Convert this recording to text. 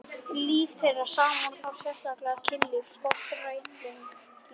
Líf þeirra saman og þá sérstaklega kynlífið skortir réttlætingu.